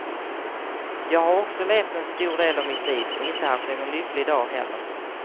Jag har också levt en stor del av mitt liv och inte haft någon lycklig dag heller.